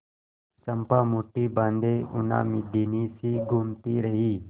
चंपा मुठ्ठी बाँधे उन्मादिनीसी घूमती रही